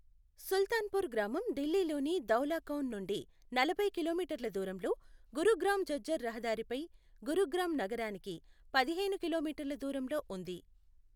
సుల్తాన్పూర్ గ్రామం ఢిల్లీలోని ధౌలాకౌన్ నుండి నలభై కిలోమీటర్ల దూరంలో, గురుగ్రామ్ ఝజ్జర్ రహదారిపై గురుగ్రామ్ నగరానికి పదిహేను కిలోమీటర్ల దూరంలో ఉంది.